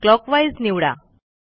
clockwise निवडा